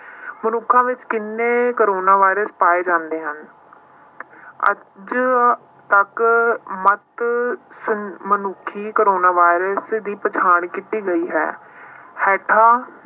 ਮਨੁੱਖਾਂ ਵਿੱਚ ਕਿੰਨੇ ਕੋਰੋਨਾ ਵਾਇਰਸ ਪਾਏ ਜਾਂਦੇ ਹਨ ਅੱਜ ਤੱਕ ਮੱਤ ਸ~ ਮਨੁੱਖੀ ਕੋਰੋਨਾ ਵਾਇਰਸ ਦੀ ਪਛਾਣ ਕੀਤੀ ਗਈ ਹੈ ਹੇਠਾਂ